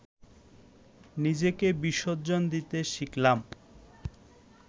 নিজেকে বিসর্জন দিতে শিখলাম